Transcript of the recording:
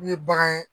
N'u ye bagan ye